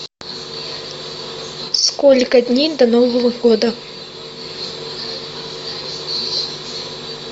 сколько дней до нового года